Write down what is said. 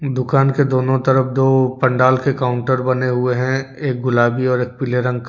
दुकान के दोनों तरफ दो पंडाल के काउंटर बने हुए हैं एक गुलाबी और एक पीले रंग का।